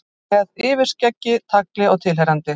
Með yfirskeggi, tagli og tilheyrandi.